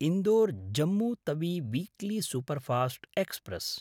Indore Jammu Tawi weekly superfast express